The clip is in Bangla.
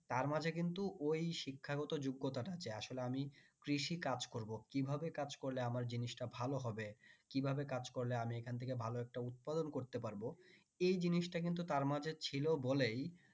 তার মাঝে কিন্তু ওই শিক্ষাগত যোগ্যতা আছে আসলে আমি কৃষি কাজ করব কিভাবে কাজ করলে আমার জিনিসটা ভালো হবে কিভাবে কাজ করলে আমি এখান থেকে ভালো একটা উৎপাদন করতে পারবো এই জিনিসটা কিন্তু তার মাঝে ছিল বলেই